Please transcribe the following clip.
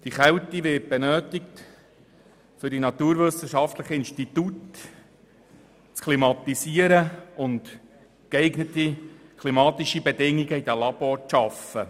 Die Kälte wird in naturwissenschaftlichen Instituten für die Klimatisierung benötigt und um geeignete klimatische Bedingungen in den Laboratorien zu schaffen.